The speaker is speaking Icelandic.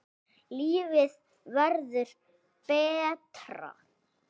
Lífið verður betra